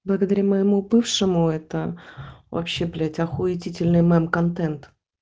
благодаря моему бывшему это вообще блять охуетительный мем контент